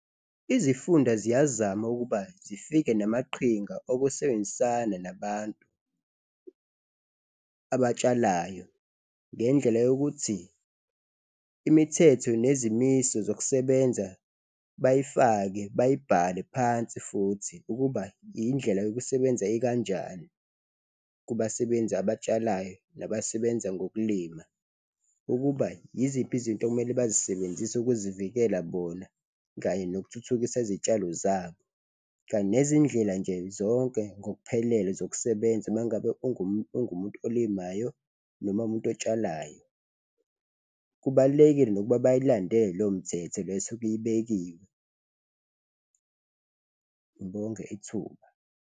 Izifunda ziyazama ukuba zifike namaqhinga okusebenzisana nabantu abatshalayo ngendlela yokuthi imithetho nezimiso zokusebenza bayifake, bayibhale phansi futhi ukuba indlela yokusebenza ekanjani kubasebenzi abatshalayo nabasebenza ngokulima, ukuba yiziphi izinto okumele bazisebenzise ukuzivikela bona kanye nokuthuthukisa izitshalo zabo. Kanye nezindlela nje zonke ngokuphelele zokusebenza uma ngabe ungumuntu olimayo noma uwumuntu otshalayo, kubalulekile nokuba bayilandele leyo mthetho le esuke ibekiwe. Ngibonge ithuba.